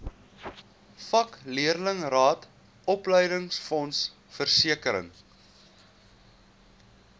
vakleerlingraad opleidingsfonds versekering